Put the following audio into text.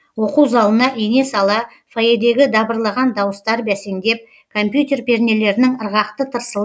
оқу залына ене сала фойедегі дабырлаған дауыстар бәсеңдеп компьютер пернелерінің ырғақты тырсылы